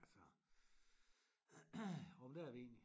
Altså jamen det er vi egentlig